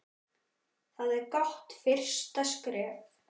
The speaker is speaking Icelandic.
Það er gott fyrsta skref.